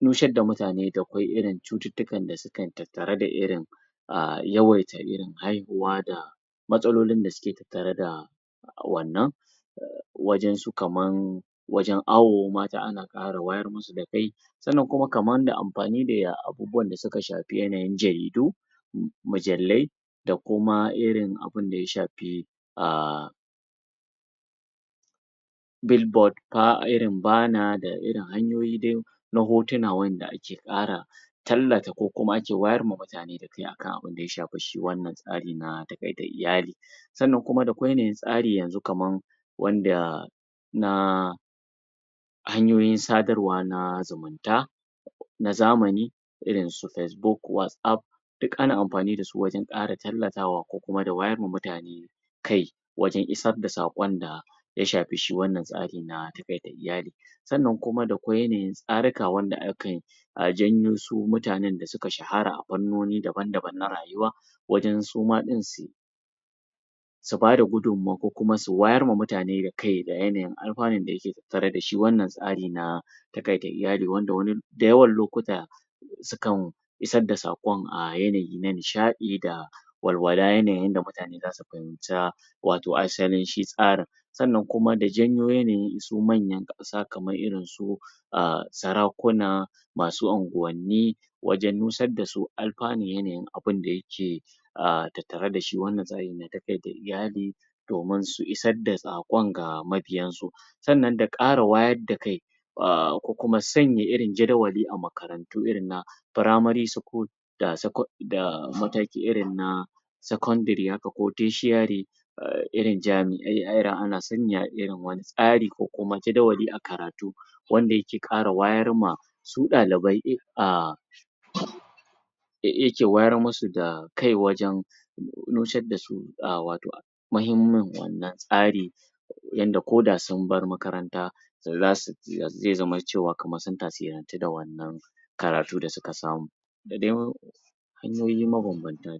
nusar da mutane da kwai irin cututtukan da sukan tattara da irin a yawaita irin haihuwa da matsalolin da suke tattare da wannan wajen su kaman wajen awo mata ana fara wayar mudu da kai sannan kuman da amfani da abubuwan suka shafi yanayin jaridu mujallai da kuma irin abinda ya shafi a?? irin bana d irin hanyoyi dai na hotuna wanda ake ƙara tallata ko kuma ake wayar ma mutane da kai akan abinda ya shafi shi wannan tsari na taƙaita iyali sannan kuma da kwai yanayin tsari yanzu kaman wanda na hanyoyin sadarwa na zumunta na zamani irin su facebook, whatapp duk ana amfani da su wajen ƙara tallafawa ko kuma wayar wa mutane kai wajen isar da saƙon da ya shafi shi wannan tsari na taƙaita iyali sannan kuma da kwai yanayin tsaruka wanda akai a janyo su mutanen da suka shahara a fannoni daban-daban na rayuwa wajen suma ɗin su su bada gudumma ko kuma su wayar ma mutane kai da yanayin alfanun da yake tattare da shi wannan tsari na taƙaita iyali wanda da yawan lokuta sukan isar da saƙon a yanayi na nishaɗi da walawala yanayin yanda mutane za su fahimta wato asalin shi tsarin sannan kuma da janyo su manyan ƙasa kaman irinsu a sarakuna masu unguwanni wajen nusar da su alfanun yananin abinda yake a tattare da shi wanda zai taƙaita iyali domin su isar da saƙon ga mabiyansu sannan da ƙara wayar da kai a ko kuma sanya irin jadawali a makarantu irin na Primary School da secon da mataki irin na Secondary haka ko Tertiary a irin jami'ai irin ana sanya irin wannan tsari ko kuma jadawali a karatu wanda yake ƙara wayar ma su ɗalibai? a? da yake wayar musu da kai wajen nusar da su a wato muhimmin wannan tsari yanda koda sun bar makaranta za su zai zama cewa kamar sun tasirantu da wannan karatu da suka samu da dai hanyoyi mabambanta.